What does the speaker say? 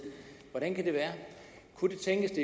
hvordan kan det være kunne det tænkes